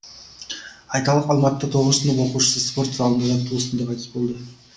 айталық алматыда тоғызыншы сынып оқушысы спорт залында жаттығу үстінде қайтыс болды